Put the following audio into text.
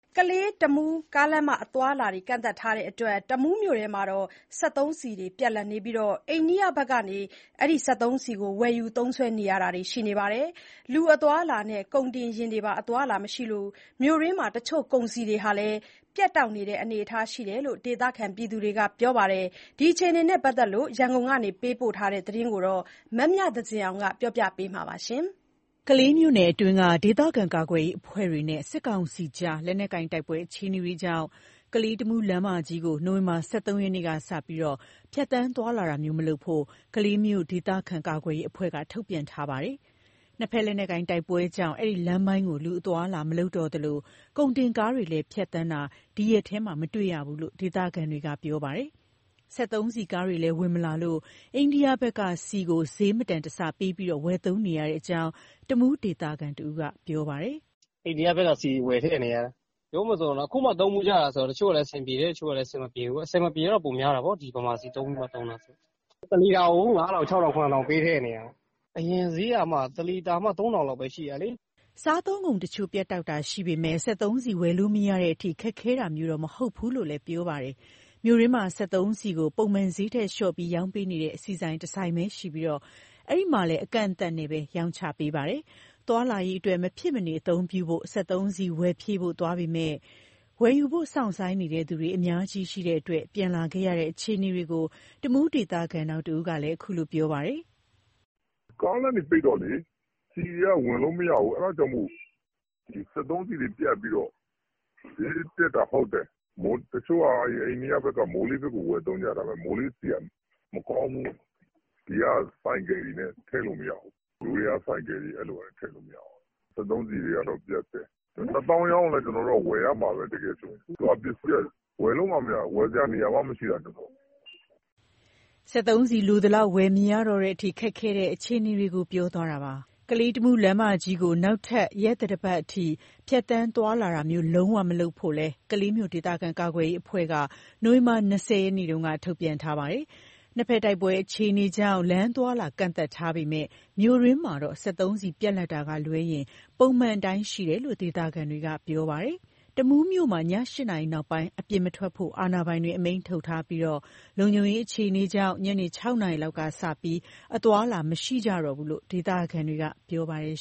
ကလေး-တမူး ကားလမ်းမ အသွားအလာကန့်သတ်ထားလို့ တမူးမြို့ထဲမှာ စက်သုံးဆီပြတ်လပ်နေပြီး အိန္ဒိယဘက်ကနေဝယ်ယူ သုံးစွဲနေရတာလည်း ရှိပါတယ်။ လူအသွားအလာနဲ့ ကုန်တင်ယာဉ်တွေပါ အသွားအလာမရှိလို့ မြို့တွင်းမှာ တချို့ကုန်စည်တွေလည်း ပြတ်တောက်နေတယ်လို့ ဒေသခံတွေက ပြောပါတယ်။ ဒီအခြေအနေနဲ့ ပတ်သက်လို့ ရန်ကုန်က ပေးပို့ထားတဲ့ သတင်းကို မမြသဇင်အောင်က တင်ပြပေးထားပါတယ်။ ကလေးမြို့နယ်အတွင်းက ဒေသခံကာကွယ်ရေး အဖွဲ့တွေနဲ့ စစ်ကောင်စီကြား လက်နက်ကိုင်တိုက်ပွဲ အခြေအနေတွေကြောင့် ကလေး-တမူး လမ်းမကြီးကို နိုဝင်ဘာလ ၁၃ ရက်နေ့ကစပြီး ဖြတ်သန်းသွားလာတာမျိုးမလုပ်ဖို့ ကလေးမြို့ ဒေသခံကာကွယ်ရေးအဖွဲ့က ထုတ်ပြန်ထားပါတယ်။ နှစ်ဘက်လက်နက်ကိုင် တိုက်ပွဲကြောင့် အဲဒီလမ်းပိုင်းကို လူအသွားအလာ မလုပ်တော့သလို ကုန်တင်ကားတွေလည်း ဖြတ်သန်းတာမျိုး ဒီရက်ထဲမှာ မတွေ့ရတော့ဘူးလို့ ဒေသခံတွေက ပြောပါတယ်။ စက်သုံးဆီကားတွေလည်း ဝင်မလာတော့လို့ အိန္ဒိယဘက်က ဆီကို ဈေးမတန်တဆပေးပြီး ဝယ်သုံးနေရတဲ့အကြောင်း တမူးဒေသခံတဦးက ပြောပါတယ်။ "အိန္ဒိယဘက်က ဆီဝယ်ထည့်နေရတယ်။ အခုမှ သုံးဖူးကြတာဆိုတော့ တချို့က အဆင်ပြေတယ်၊ တချို့ကလည်း အဆင်မပြေဘူး။ အဆင်မပြေတာတော့ ပိုများတာပေါ့၊ ဒီဗမာဆီပဲ သုံးဖူးနေကြတာဆိုတော့။ တလီတာကို ၅,၀၀၀ ကနေ ၇,၀၀၀ အထိ ပေးထည့်နေရတာ။ အရင်ဈေးက တလီတာမှ ၃,၀၀၀ လောက်ပဲ ရှိတာလေ။" စားသုံးကုန်တချို့ ပြတ်တောက်တာရှိပေမယ့် စက်သုံးဆီလို ဝယ်မရတဲ့အထိ ခက်ခဲတာမျိုးတော့ မဟုတ်ဘူးလို့ ပြောပါတယ်။ မြို့တွင်းမှာ စက်သုံးဆီကို ပုံမှန်ဈေးထက်လျှော့ပြီး ရောင်းပေးနေတဲ့ ဆီဆိုင်တဆိုင်သာရှိပြီး အဲဒီမှာလည်း အကန့်အသတ်နဲ့သာ ရောင်းချပေးနေတာပါ။ သွားလာရေးအတွက် မဖြစ်မနေအသုံးပြုဖို့ စက်သုံးဆီဝယ်ဖြည့်ဖို့ သွားခဲ့ပေမယ့် ဝယ်ယူဖို့စောင့်ဆိုင်းနေသူ အများကြီးရှိနေလို့ ပြန်လာရတဲ့ အခြေအနေကို တမူးဒေသခံ နောက်တဦးကလည်း ပြောပါတယ်။ "ကားလမ်းတွေ ပိတ်တော့လေ ဆီကားတွေက ဝင်လို့မရဘူး။ အဲဒါကြောင့်မို့လို့ စက်သုံးဆီတွေ ပြတ်ပြီးတော့ ဈေးတက်တာဟုတ်တယ်။ တချို့က အိန္ဒိယဘက်က မိုးရေးဆီကို ဝယ်သုံးကြတယ်။ ဒါပေမဲ့ မိုးရေးဆီက မကောင်းဘူး။ ဒီက ဆိုင်ကယ်တွေနဲ့ ထည့်လို့ မရဘူး၊ ယိုးဒယားဆိုင်ကယ်တွေလည်း အဲလိုပဲ ထည့်မရဘူး။ စက်သုံးဆီတွေကတော့ ပြတ်တော့ ၁ သောင်းရောင်းလည်း ကျနော်တို့က ဝယ်ရတော့မှာပဲ။ အခုက ပစ္စည်းက ဝယ်လို့မှမရတာ၊ ဝယ်စရာနေရာကို မရှိတာ။" စက်သုံးဆီလိုသလောက် ဝယ်မရတော့တဲ့အထိ ခက်ခဲနေတဲ့ အခြေအနေကို ပြောသွားတာပါ။ ကလေး-တမူးလမ်းမကြီးကို နောက်ထပ် ရက်သတ္တပတ်အထိ ဖြတ်သန်းသွားလာတာမျိုး လုံးဝမလုပ်ဖို့ကိုလည်း ကလေးမြို့ ဒေသခံကာကွယ်ရေးအဖွဲ့က နိုဝင်ဘာလ ၂၀ ရက်နေ့တုန်းက ထုတ်ပြန်ထားပါတယ်။ နှစ်ဘက်တိုက်ပွဲအခြေအနေကြောင့် လမ်းအသွားအလာ ကန့်သတ်ထားပေမယ့် မြို့တွင်းမှာတော့ စက်သုံးဆီ ပြတ်လပ်တာကလွဲရင် ပုံမှန်အတိုင်း ရှိနေတယ်လို့ ဒေသခံတွေက ပြောပါတယ်။ တမူးမြို့မှာ ည ၈ နာရီနောက်ပိုင်း အပြင်မထွက်ဖို့ အာဏာပိုင်တွေက အမိန့်ထုတ်ထားပြီး လုံခြုံရေး အခြေအနေကြောင့် ညနေ ၆ နာရီလောက်ကစပြီး အသွားအလာ မရှိကြတော့ဘူးလို့ ဒေသခံတွေက ပြောပါတယ်